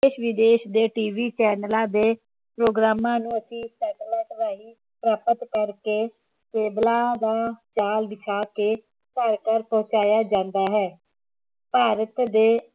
ਵਿਦੇਸ਼ ਦੇ TV ਚੈੱਨਲਾਂ ਦੇ ਪ੍ਰੋਗਰਾਮਾਂ ਨੂੰ ਅਸੀਂ satellite ਰਾਹੀ ਪ੍ਰਾਪਤ ਕਰਕੇ ਕੇਬਲਾਂ ਦਾ ਜਾਲ ਬਿਛਾ ਕੇ ਘਰ ਘਰ ਪਹੁੰਚਾਇਆ ਜਾਂਦਾ ਹੈ ਭਾਰਤ ਦੇ